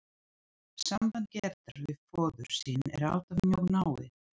Samband Gerðar við föður sinn er alltaf mjög náið.